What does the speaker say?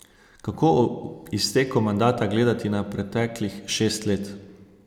Kako ob izteku mandata gledate na preteklih šest let?